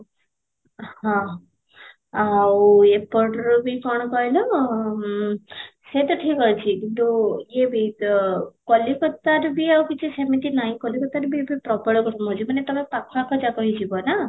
ହଁ, ଆଉ ଏପଟର ବି କ'ଣ କହିଲ ଓଁ ହେଇଟା ଠିକ ଅଛି କିନ୍ତୁ ୟେ ବି ତ କଲିକତାରୁ ବି ଆଉ କିଛି ସେମିତି ନାହିଁ, କଲିକତାରେ ବି ଏତବେ ପ୍ରବଳ ଗରମ ହେଉଛି ମାନେ ତୋମେ ପାଖ ଆଖ ଯାକ ହେଇ ଯିବ ନା